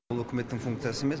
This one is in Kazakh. бұл үкіметтің функциясы емес